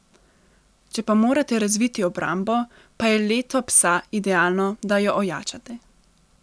Če pa morate razviti obrambo, pa je leto psa idealno, da jo ojačate.